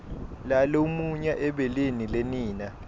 lalumunya ebeleni lenina